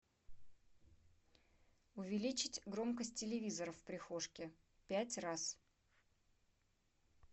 увеличить громкость телевизора в прихожке пять раз